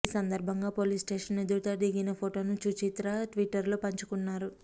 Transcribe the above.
ఈ సందర్భంగా పోలీస్స్టేషన్ ఎదుట దిగిన ఫొటోను సుచిత్ర ట్విటర్లో పంచుకున్నారు